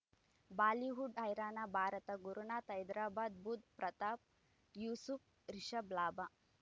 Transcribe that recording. Bollywood ಹೈರಾಣ ಭಾರತ ಗುರುನಾಥ ಹೈದರಾಬಾದ್ ಬುಧ್ ಪ್ರತಾಪ್ ಯೂಸುಫ್ ರಿಷಬ್ ಲಾಭ